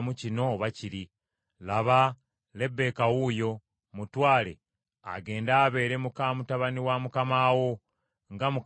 Laba, Lebbeeka wuuyo, mutwale, agende abeere muka mutabani wa mukama wo, nga Mukama bw’alagidde.”